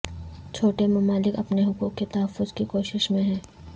چھوٹے ممالک اپنے حقوق کے تحفظ کی کوشش میں ہیں